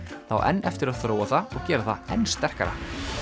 það á enn eftir að þróa það og gera það enn sterkara